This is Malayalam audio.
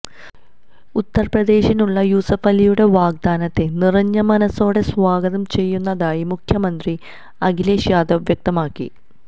ഉത്തര്പ്രദേശിനുള്ള യൂസുഫലിയുടെ വാഗ്ദാനത്തെ നിറഞ്ഞ മനസ്സോടെ സ്വാഗതം ചെയ്യുന്നതായി മുഖ്യമന്ത്രി അഖിലേഷ് യാദവ് വ്യക്തമാക്കി